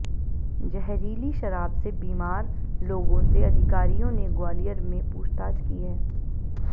जहरीली शराब से बीमार लोगों से अधिकारियों ने ग्वालियर में पूछताछ की है